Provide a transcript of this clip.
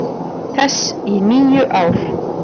þess í níu ár.